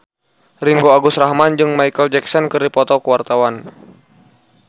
Ringgo Agus Rahman jeung Micheal Jackson keur dipoto ku wartawan